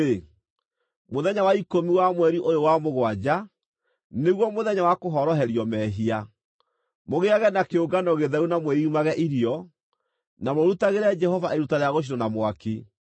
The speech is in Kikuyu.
“Mũthenya wa ikũmi wa mweri ũyũ wa mũgwanja, nĩguo Mũthenya wa Kũhoroherio Mehia. Mũgĩage na kĩũngano gĩtheru na mwĩimage irio, na mũrutagĩre Jehova iruta rĩa gũcinwo na mwaki.